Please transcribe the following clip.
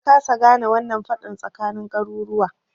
Na kasa gane wannan faɗan tsakanin garuruwa